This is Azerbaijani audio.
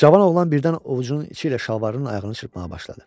Cavan oğlan birdən ovucunun içi ilə şalvarının ayağını çırpmağa başladı.